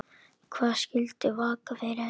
Hvað skyldi vaka fyrir henni?